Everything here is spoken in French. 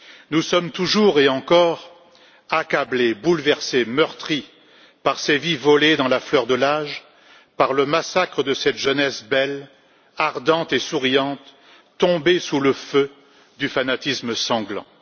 Nous sommes toujours et encore accablés, bouleversés, meurtris par ces vies volées dans la fleur de l'âge, par le massacre de cette jeunesse belle, ardente et souriante, tombée sous le feu du fanatisme sanglant.